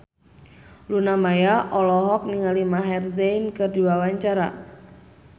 Luna Maya olohok ningali Maher Zein keur diwawancara